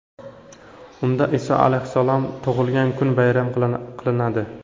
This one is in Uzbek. Unda Iso alayhissalom tug‘ilgan kun bayram qilinadi.